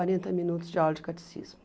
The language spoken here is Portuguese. quarenta minutos de aula de catecismo.